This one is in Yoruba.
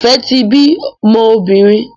Ife tí bí mọ obìrin.